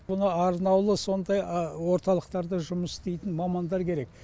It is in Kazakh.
мұны сонда орталықтарда жұмыс істейтін мамандар керек